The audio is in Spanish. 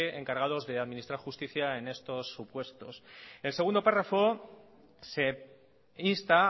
encargados de administrar justicia en estos supuestos en el segundo párrafo se insta